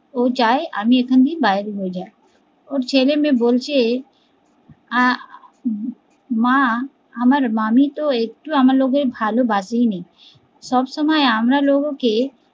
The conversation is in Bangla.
ও চায় আমি এখানে বাইর হয়ে যায়, ওর ছেলে মেয়ে বলছে আহ মা আমার মামী তো একটু ভালোবাসেনি, সব সময় আমরা লোগোকে